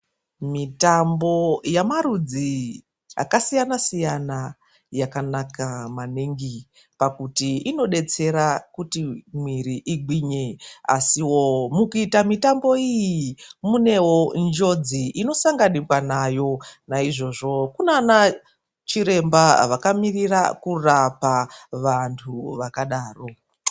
Mitambo yemarudzi akasiyana siyana yakanaka maningi pakuti inodetsera pakuti mwiri igwinye asiwo mukuitawo mitambo iyi munewo njodzi inosanganikwawo naizvozvo kunana chiremba akamirirawo kurapa vandu vakadaro.